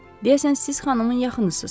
“Deyəsən siz xanımın yaxınısız.”